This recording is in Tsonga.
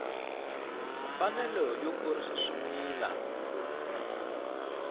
mfanelo yo kurisa swimila lowu